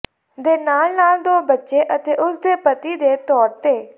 ਦੇ ਨਾਲ ਨਾਲ ਦੋ ਬੱਚੇ ਅਤੇ ਉਸ ਦੇ ਪਤੀ ਦੇ ਤੌਰ ਤੇ